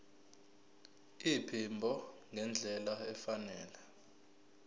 iphimbo ngendlela efanele